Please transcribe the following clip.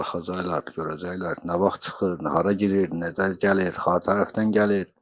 Baxacaqlar, görəcəklər nə vaxt çıxır, hara girir, nə gəlir, har tərəfdən gəlir.